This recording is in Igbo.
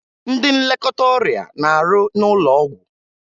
Ndị nlekọta ọrịa na-arụ n'ụlọ ọgwụ